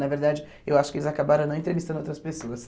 Na verdade, eu acho que eles acabaram não entrevistando outras pessoas.